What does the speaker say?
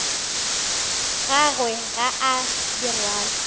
gagwe ga a di rwale